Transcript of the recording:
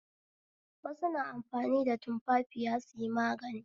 Wasu na amfani tumfafiya suyi magani